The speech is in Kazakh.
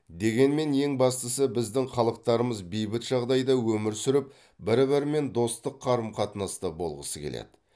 дегенмен ең бастысы біздің халықтарымыз бейбіт жағдайда өмір сүріп бір бірімен достық қарым қатынаста болғысы келеді